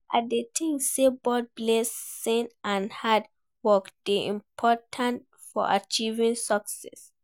I dey think say both blessing and hard work dey important for achieving success.